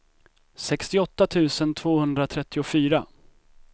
sextioåtta tusen tvåhundratrettiofyra